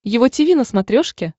его тиви на смотрешке